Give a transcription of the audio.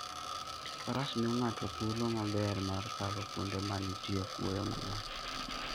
Faras miyo ng'ato thuolo maber mar kalo kuonde ma nitie kuoyo mang'eny.